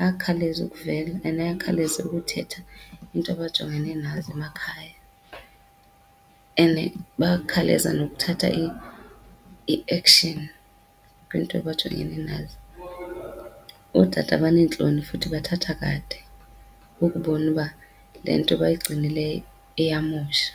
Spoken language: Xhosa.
ayakhawuleze ukuvelwa and ayakhawuleze ukuthetha iinto abajongene nazo emakhaya, and bayakhawuleza nokuthatha i-action kwiinto abajongene nazo. Ootata baneentloni futhi bathatha kade ukubona uba le nto bayigcinileyo iyamosha.